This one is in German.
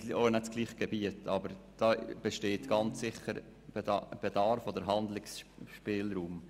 Das Gebiet ist auch nicht dasselbe, aber es besteht ganz sicher ein Handlungsspielraum.